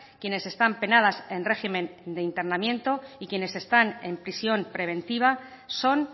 quienes están penadas en régimen de internamiento y quienes están en prisión preventiva son